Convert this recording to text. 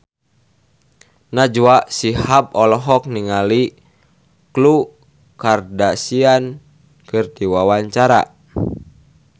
Najwa Shihab olohok ningali Khloe Kardashian keur diwawancara